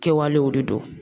Kɛwalew de don